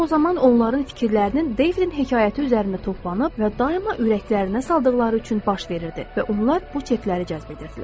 Bu o zaman onların fikirlərinin Deyvin hekayəti üzərində toplanıb və daima ürəklərinə saldıqları üçün baş verirdi və onlar bu çekləri cəzb edirdilər.